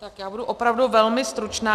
Tak já budu opravdu velmi stručná.